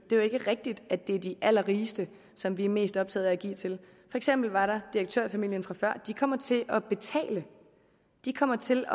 er jo ikke rigtigt at det er de allerrigeste som vi er mest optaget af at give til for eksempel var der direktørfamilien fra før de kommer til at betale de kommer til